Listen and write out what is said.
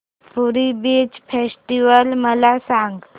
पुरी beach festival मला सांग